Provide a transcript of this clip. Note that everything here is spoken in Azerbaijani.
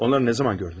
Onları nə zaman gördün?